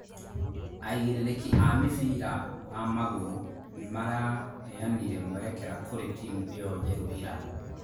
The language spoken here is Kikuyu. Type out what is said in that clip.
Aigĩrĩrĩki a mĩbira wa magũrũ nĩmaraheanire mwerekera kũrĩ timu ĩyo njerũ ira